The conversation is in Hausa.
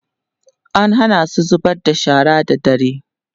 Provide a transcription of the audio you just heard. an Hana su zubar da shara da dare